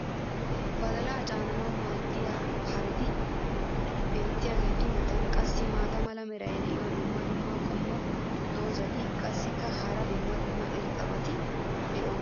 badalaa caananawu maadiya haretti biyaageetu matan qassi maata mala meray diyo dumma dumma qommo dozzati qassikka hara dumma dumma irxxabati doosona.